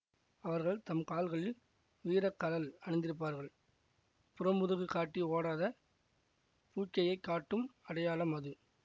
அவர்கள் தம் கால்களில் வீரக்கழல் அணிந்திருப்பர் புறமுதுகு காட்டி ஓடாத பூட்கையைக் காட்டும் அடையாளம் அது